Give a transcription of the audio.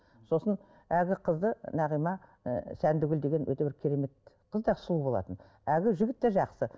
сосын әлгі қызды нағима ы сәндігүл деген өте бір керемет қыз да сұлу болатын әлгі жігіт те жақсы